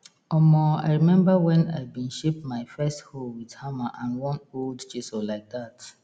omo i remember wen i been shape my first hoe wit hammer and one old chisel like dat